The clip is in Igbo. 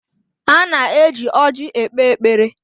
A na-eji ọrji ekpe ekpere